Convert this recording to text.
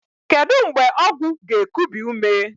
Kedu mgbe ọgwụ ga-ekubi ume?